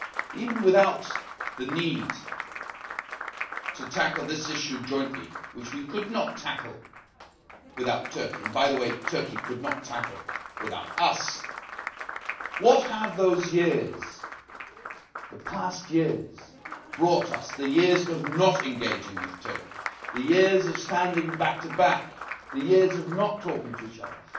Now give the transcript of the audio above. Even without the need to tackle this issue jointly, which we could not tackle without Turkey and by the way Turkey could not tackle without us what have those years, the past years, the years of not engaging with Turkey, the years of standing back to back, the years of not talking to each other,